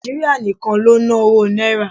Nàìjíríà nìkan ló ń ná owó Náírà.